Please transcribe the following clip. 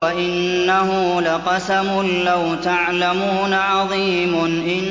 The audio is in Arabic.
وَإِنَّهُ لَقَسَمٌ لَّوْ تَعْلَمُونَ عَظِيمٌ